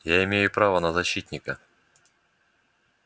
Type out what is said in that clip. я имею право на защитника